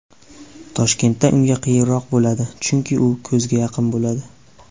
Toshkentda unga qiyinroq bo‘ladi, chunki u ko‘zga yaqin bo‘ladi.